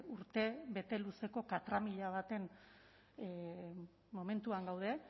urtebete luzeko katramila baten momentuan gaude